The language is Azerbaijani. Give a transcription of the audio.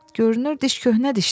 Görünür diş köhnə dişdir.